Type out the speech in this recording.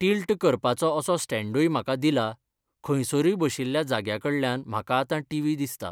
Tilt करपाचो असो स्टँण्डूय म्हाका दिला खंयसरूय बशिल्ल्या जाग्या कडल्यान म्हाका आतां टिवी दिसता.